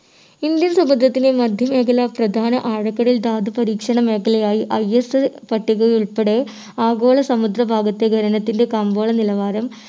indian സമുദ്രത്തിലെ മധ്യ മേഖല പ്രധാന ആഴക്കടൽ ധാതു പരീക്ഷണ മേഖലയായി ISI പട്ടികയിലുൾപ്പെടെ ആഗോള സമുദ്ര ഭാഗത്തെ ഖനനത്തിൻ്റെ കമ്പോള നിലവാരം